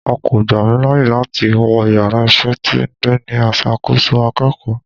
A ko gba mi laaye lati wọ ìyára iṣẹ tí diiní asàkọsọ akeéko